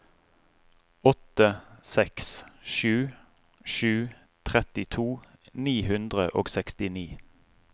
åtte seks sju sju trettito ni hundre og sekstini